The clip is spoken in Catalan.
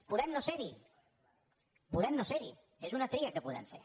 podem no ser·hi podem no ser·hi és una tria que podem fer